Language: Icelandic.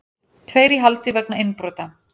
Tveir í haldi vegna innbrota